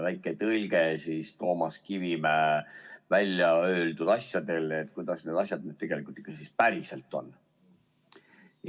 Väike tõlge Toomas Kivimäe välja öeldud asjadele, kuidas need asjad siis ikkagi tegelikult ja päriselt on.